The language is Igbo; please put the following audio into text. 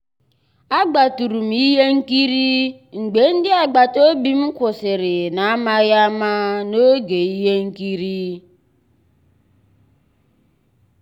àgbátụ̀rụ̀ m ihe nkírí mgbé ndị́ àgbàtà òbí kwụ́sị́rí n'àmàghị́ àmá n'ògé íhé nkírí.